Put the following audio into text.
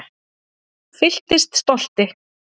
Fylltist stolti